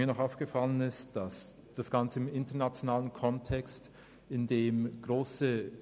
Mir ist noch aufgefallen, dass das Ganze im internationalen Kontext angeschaut werden kann.